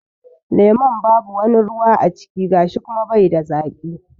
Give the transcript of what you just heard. Lemun babu wani ruwa a ciki gashi kuma bai da zaƙi.